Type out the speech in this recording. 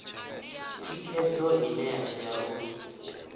thikhedzo ine ya tea u